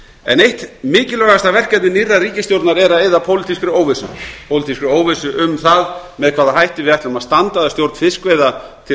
en eitt mikilvægasta verkefni nýrrar ríkisstjórnar er að eyða pólitískri óvissu um það með hvaða hætti við ætlum að standa að stjórn fiskveiða til